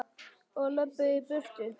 Og löbbuðu í burtu.